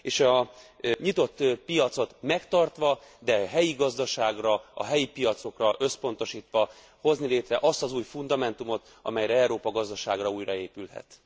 És a nyitott piacot megtartva, de a helyi gazdaságra, a helyi piacokra összpontosítva hozni létre azt az új fundamentumot, amelyen Európa gazdasága újraépülhet.